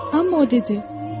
Amma o dedi: